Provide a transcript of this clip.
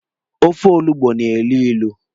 Ofe olugbu na-elu ilu.